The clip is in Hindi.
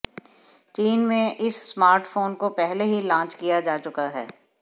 चीन में इस स्मार्टफोन को पहले ही लॉन्च किया जा चुका है